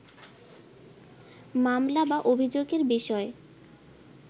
মামলা বা অভিযোগের বিষয়